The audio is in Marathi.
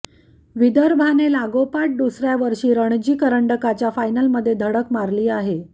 विदर्भाने लागोपाठ दुसऱया वषी रणजी करंडकाच्या फायनलमध्ये धडक मारली आहे